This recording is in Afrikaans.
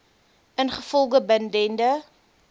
ingevolge bin dende